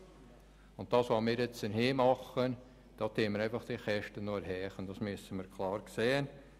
Mit dem, was wir nun hier machen, erhöhen wir diese Kosten einfach noch.